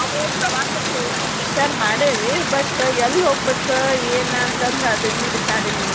ನಾವು ಪ್ರವಾಸಾಕ್ ಹೋಗು ವಿಚಾರ್ ಮಾಡೆವಿ but ಎಲ್ಲೇ ಹೋಗ್ಬೇಕ್ ಏನ್ ಅಂತಂದ ಅದಿನ್ನೂ decide ಇಲ್ಲ ನೋಡ್ರಿ.